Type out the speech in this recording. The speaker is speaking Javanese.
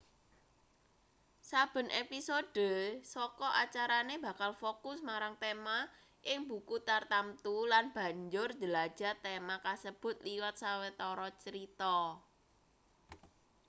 saben episode saka acarane bakal fokus marang tema ing buku tartamtu lan banjur njelajah tema kasebut liwat sawetara crita